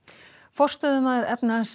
forstöðumaður